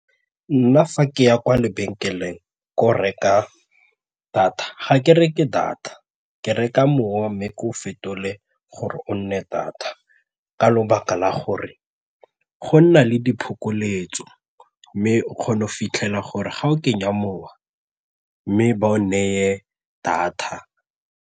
Nna fa ke ya kwa lebenkeleng ko reka data ga ke reke data ke reka mowa mme ke o fetole gore o nne data ka lebaka la gore go nna le diphokoletso mme o kgona go fitlhela gore ga o kenya mowa mme ba o neye data.